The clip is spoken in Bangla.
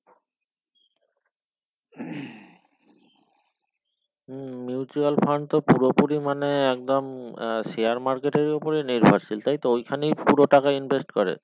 হুম mutual fund তো পুরোপুরি মানে একদম আহ share market এর উপরে নির্ভরশীল তাই তো ওই খানেই পুরো টাকা invest করে